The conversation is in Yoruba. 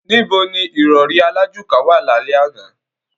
Níbo ní ìrọrí alájùká wà lálẹ́ àná?